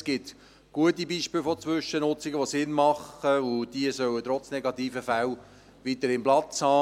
Es gibt gute Beispiele von Zwischennutzungen, die Sinn machen, und diese sollen trotz negativen Fällen weiterhin Platz haben.